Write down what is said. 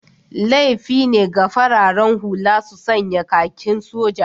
Laifi ne ga fararen hula su sanya kakin soja